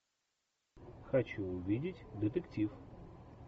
хочу увидеть детектив